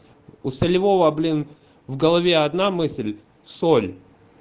у солевого блин в голове одна мысль соль